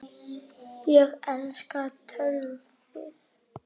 Ég elska töltið.